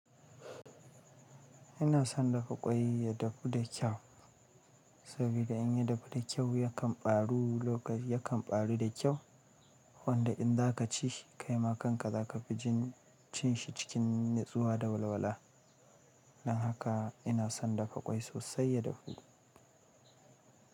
Ina son dafa kwai ya dafu da kyau, sabida in ya dafu da kyau ya kan ɓaru, ya kan ɓaru da kyau. Wanda in za ka ci shi kaima kanka za ka fi jin cin shi cikin natsuwa da walwala. Dan haka ina son dafa ƙwai sosai ya dafu.